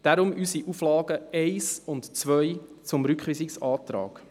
darum unsere Auflagen 1 und 2 im Rückweisungsantrag.